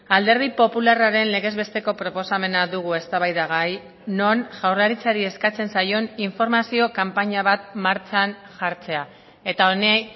alderdi popularraren legez besteko proposamena dugu eztabaidagai non jaurlaritzari eskatzen zaion informazio kanpaina bat martxan jartzea eta honi